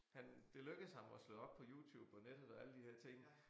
Han det lykkedes ham at slå op på YouTube og nettet og alle de der ting